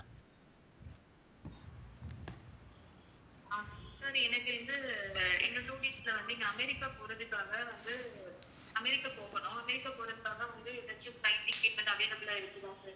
ஆஹ் sir எனக்கு வந்து இன்னும் two weeks ல வந்து இங்க அமெரிக்கா போறதுக்காக வந்து அமெரிக்கா போகணும் அமெரிக்கா போறதுக்காக வந்து ஏதாச்சும் flight ticket எதுவும் available ஆ இருக்குதா sir